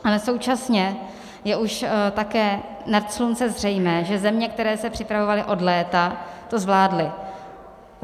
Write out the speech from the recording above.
Ale současně je už také nad slunce zřejmé, že země, které se připravovaly od léta, to zvládly.